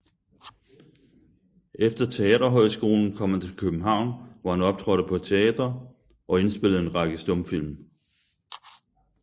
Efter teaterhøjskolen kom han til København hvor han optrådte på teatre og indspillede en række stumfilm